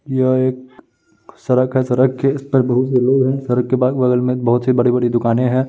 यह एक क सरक है सरक के इस पर बहुत से लोग हैं सरक के पास बगल में एक बहुत सी बड़ी बड़ी दुकानें हैं।